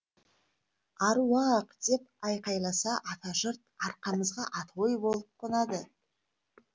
аруақ деп айқайласа ата жұрт арқамызға атой болып қонады